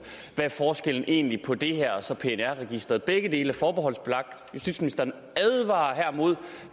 hvad forskellen egentlig er på det her og så pnr registeret begge dele er forbeholdsbelagt justitsministeren advarer her imod